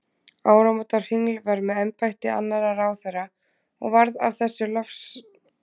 Ámóta hringl var með embætti annarra ráðherra og varð af þessu losarabragur á allri umsýslu.